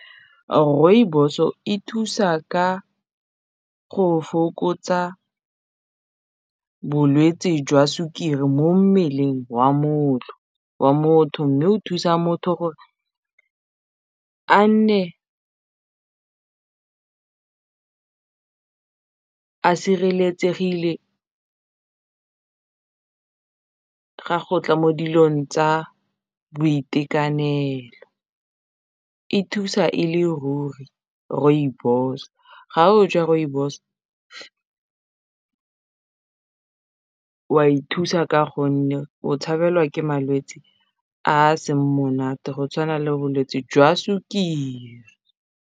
Rooibos-o e thusa ka go fokotsa bolwetsi jwa sukiri mo mmeleng wa motho mme o thusa motho gore a nne a sireletsegile ga go tla mo dilong tsa boitekanelo e thusa e le ruri rooibos ga o ja rooibos wa ithusa ka gonne o tshabelwa ke malwetsi a seng monate go tshwana le bolwetsi jwa sukiri.